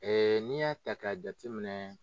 Ee n'i y'a ta k'a jateminɛ